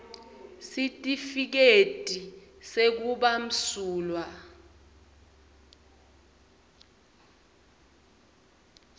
sitifiketi sekuba msulwa